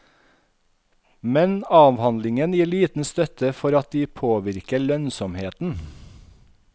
Men avhandlingen gir liten støtte for at de påvirker lønnsomheten.